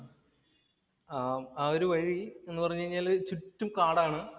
ആഹ് ആ ഒരു വഴി എന്നു പറഞ്ഞാല് ചുറ്റും കാടാണ്.